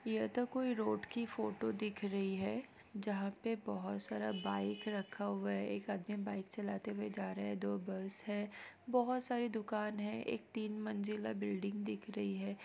ये तो कोई रोड की फोटो दिख रही है जहां पे बहुत सारा बाइक रखा हुआ है एक आदमी बाइक चलाते हुए जा रहा है दो बस है बहुत सारी दुकान है एक तीन मंजिला बिल्डिंग दिख रही है।